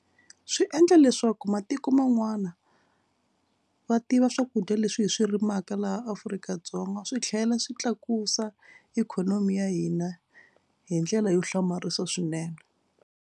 Swi endla leswaku matiko man'wana va tiva swakudya leswi hi swi rimaka laha Afrika-Dzonga swi tlhela swi tlakusa ikhonomi ya hina hi ndlela yo hlamarisa swinene.